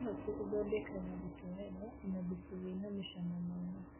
Karati ĩthondekaga gĩtowero na thubu wĩna mũcoma mwega